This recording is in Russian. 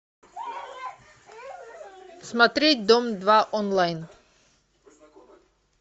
смотреть дом два онлайн